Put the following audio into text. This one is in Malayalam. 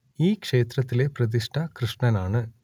ഈ ക്ഷേത്രത്തിലെ പ്രതിഷ്ഠ കൃഷ്ണൻ ആണ്